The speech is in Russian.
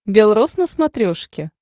бел рос на смотрешке